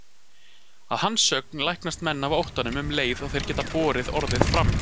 Að hans sögn læknast menn af óttanum um leið og þeir geta borið orðið fram.